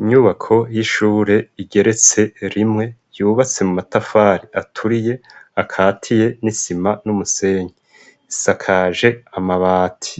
Inyubako y'ishure igeretse rimwe yubatse mu matafari aturiye akatiye n'isima n'umusenyi isakaje amabati